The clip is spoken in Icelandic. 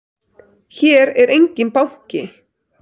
Hér er enginn banki!